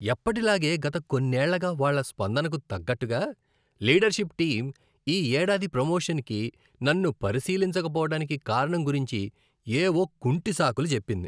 ఎప్పటిలాగే గత కొన్నేళ్ళగా వాళ్ళ స్పందనకు తగ్గట్టుగా, లీడర్షిప్ టీం ఈ ఏడాది ప్రమోషన్కి నన్ను పరిశీలించకపోవడానికి కారణం గురించి ఏవో కుంటి సాకులు చెప్పింది.